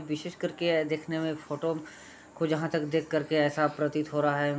विशेष कर के देखने में फोटो को जहां तक देख कर के ऐसा प्रतीत हो रहा है --